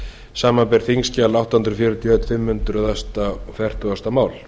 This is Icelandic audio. samanber þingskjal átta hundruð fjörutíu og einn fimm hundruð fertugasta mál